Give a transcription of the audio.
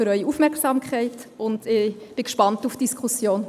Ich bin gespannt auf die Diskussion.